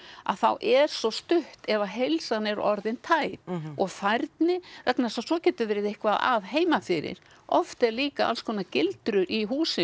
að þá er svo stutt ef heilsan er orðin tæp og færni vegna þess að svo getur verið eitthvað að heimafyrir oft eru líka alls konar gildrur í húsinu